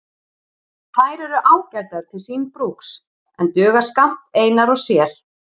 Þær eru ágætar til síns brúks en duga skammt einar og sér.